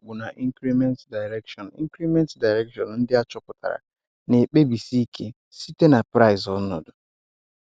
Ọ́kpùrùkpù na increment direction increment direction ndị a chópùtàrà na-ẹ̀kpébìsí ike site na price ọ́nọ̀dụ.